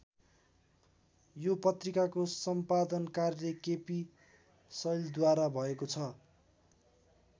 यो पत्रिकाको सम्पादन कार्य केपी शैलद्वारा भएको छ।